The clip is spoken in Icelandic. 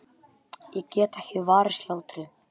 Ég get ekki varist hlátri.